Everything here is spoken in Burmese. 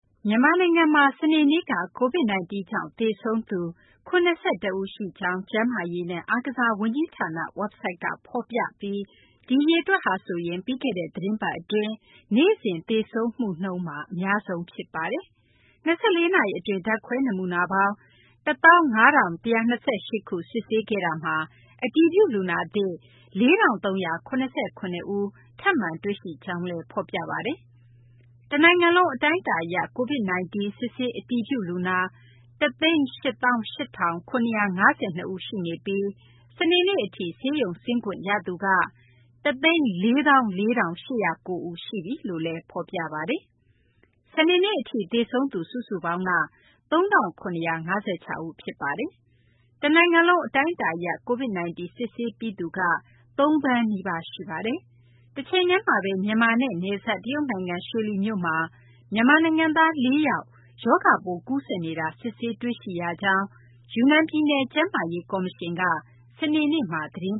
မြန်မာနိုင်ငံမှာ စနေနေ့က COVID-19 ကြောင့် သေဆုံးရသူ ၇၁ ဦးရှိကြောင်း ကျန်းမာရေးနဲ့ အားကစားဝန်ကြီးဌာန ဝက်ဘ်ဆိုက်က ဖော်ပြပြီး ဒီအရေအတွက်ဟာဆိုရင် ပြီးခဲ့တဲ့ သီတင်းပတ်အတွင်း နေ့စဉ်သေဆုံးမှုမှာ အများဆုံး ဖြစ်ပါတယ်။ ၂၄ နာရီအတွင်း ဓာတ်ခွဲနမူနာပေါင်း ၁၅,၁၂၈ ခု စစ်ဆေးခဲ့တာမှာ အတည်ပြုလူနာသစ် ၄,၃၇၇ ဦး ထပ်မံတွေ့ရှိကြောင်းလည်း ဖော်ပြပါတယ်။ တနိုင်ငံလုံး အတိုင်းအတာအရ COVID-19 စစ်ဆေးအတည်ပြုလူနာ ၁၈၈,၇၅၂ ဦးရှိနေပြီး စနေနေ့အထိ ဆေးရုံဆင်းခွင့်ရသူက ၁၄၄,၈၀၉ ဦး ရှိသွားပြီလို့လည်း စာရင်းက ဖော်ပြပါတယ်။ စနေနေ့ထိ သေဆုံးသူ စုစုပေါင်းက ၃,၇၅၆ ဦး ဖြစ်ပါတယ်။ တနိုင်ငံလုံး အတိုင်းအတာအရ COVID-19 စစ်ဆေးပြီးသူက ၂,၈၅၆,၆၉၇ ဦး ရှိပါတယ်။ တချိန်တည်းမှာပဲ မြန်မာနိုင်ငံနဲ့နယ်စပ် တရုတ်နိုင်ငံ ရွှေလီမြို့မှာ မြန်မာနိုင်ငံသား ၄ ယောက် ရောဂါပိုး ကူးစက်နေတာ စစ်ဆေးတွေ့ရှိရကြောင်း ယူနန်ပြည်နယ် ကျန်းမာရေးကော်မရှင်က စနေနေ့မှာပဲ သတင်